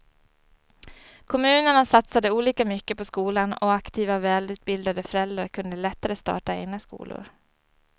Kommunerna satsade olika mycket på skolan och aktiva och välutbildade föräldrar kunde lättare starta egna skolor.